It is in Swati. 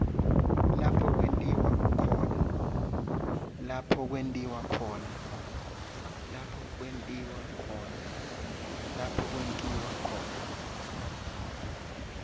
lapho kwentiwa khona